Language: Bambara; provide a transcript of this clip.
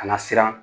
A na siran